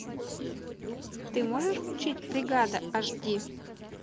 ты можешь включить бригада аш ди